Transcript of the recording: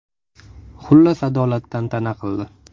Xullas, adolat tantana qildi.